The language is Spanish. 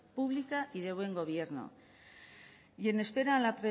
pública y de buen gobierno y en espera a la